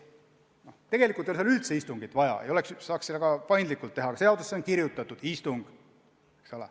Tegelikult ei ole seal üldse istungit vaja, selle saaks ka paindlikult teha, aga seaduses on kirjas: olgu istung.